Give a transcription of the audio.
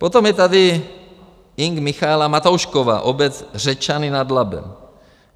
Potom je tady Ing. Michaela Matoušková, obec Řečany nad Labem.